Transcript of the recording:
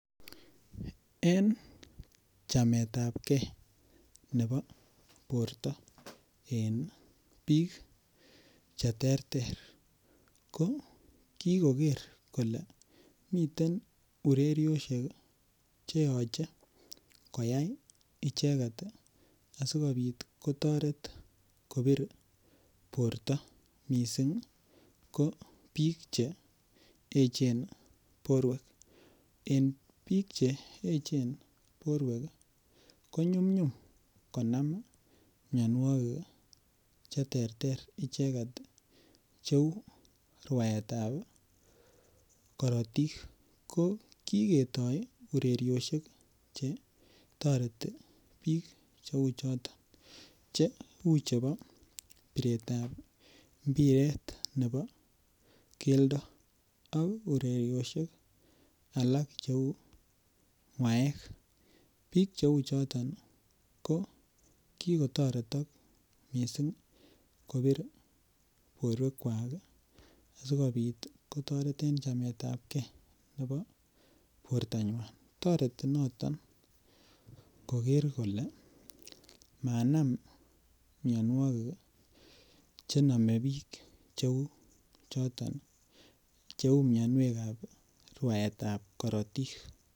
En chametabkei nebo borto en biik cheterter ko kikoker kole miten urerioshek cheyochei koyai icheget asikobit kotoret kobir borto mising' ko biik cheechen borwek en biik cheechen borwek konyumnyum konam miyonwokik cheterter icheget cheu rwaetab korotik ko kiketoi urerioshek che toreti biik cheu choto che uu chebo piretab mbiret nebo keldo ak urerioshek alak cheu rwaet biik cheu choton ko kikotoretok mising' korib borwekwak asikobit kotoret en chemetab kei nebo bortonywai toreti noton koker kole minam miyonwokik chenomei biik cheu mionwekab rwaetab korotik